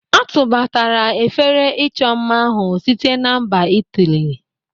A tụbatara efere ịchọ mma ahụ site na mba Itali.